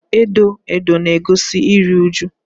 edo edo na-egosi iru uju.